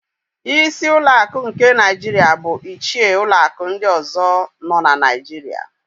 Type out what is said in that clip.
Ísí ụlọakụ nke Naịjiria bu ichie ụlọakụ ndị ọ̀zọ́ nọ na Naịjiria.